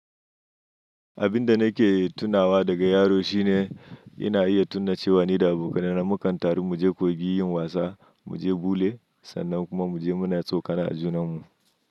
Abin da nake tunawa daga yaro shine ina iya tuna cewa ni da abokaina na mukan taru mu je kogi muyi wasa, mu je bule sannan kuma mu je muna tsokana a junan mu.